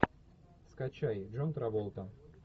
скачай джон траволта